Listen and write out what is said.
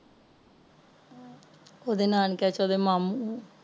ਉਦੇ ਨਾਨਕਿਆਂ ਚੋ ਓਹਦੇ ਮਾਮੂ